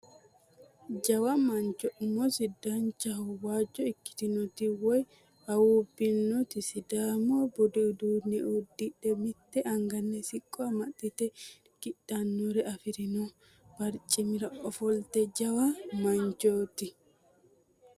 Jawa mancho umisi danancho waajjo ikkkitinoti woy awuubbinoti sidaamu budu uduunne uddidhe mitte angani siqqo amaxxite irki'nannire afirino barcimira ofoltino jawa manchooti.